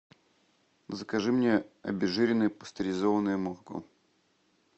закажи мне обезжиренное пастеризованное молоко